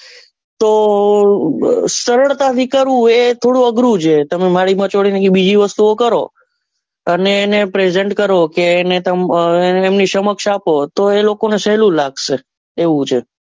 તો એ સરળતા થી કરવું એ થોડું અઘરું છે તમે એને મારી માંચોડી ને બીજી વસ્તુઓ કરો એને એને present કરો કે એમની સમક્ષ આપો તો એ લોકો ને સહેલું લાગશે એવું છે.